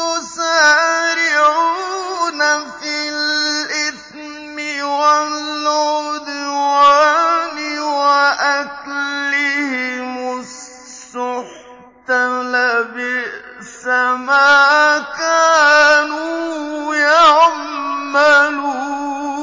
يُسَارِعُونَ فِي الْإِثْمِ وَالْعُدْوَانِ وَأَكْلِهِمُ السُّحْتَ ۚ لَبِئْسَ مَا كَانُوا يَعْمَلُونَ